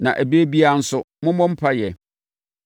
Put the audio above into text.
na ɛberɛ biara nso, mommɔ mpaeɛ;